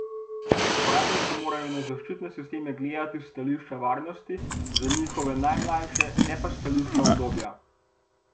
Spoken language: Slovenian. Uporabniki morajo na zaščitne sisteme gledati s stališča varnosti za njihove najmlajše, ne pa s stališča udobja.